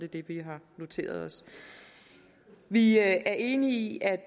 det vi har noteret os vi er enige i at